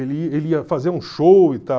Ele ele ia fazer um show e tal.